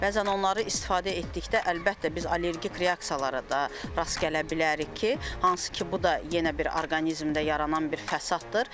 Bəzən onları istifadə etdikdə əlbəttə biz allergik reaksiyalara da rast gələ bilərik ki, hansı ki, bu da yenə bir orqanizmdə yaranan bir fəsadır.